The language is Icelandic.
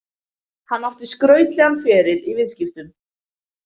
Hann átti skrautlegan feril í viðskiptum.